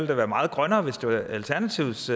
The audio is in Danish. være meget grønnere hvis det var alternativets